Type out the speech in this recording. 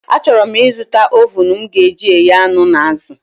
A chọrọ m ị zụta ovuun m ga eji eghe anụ na azụ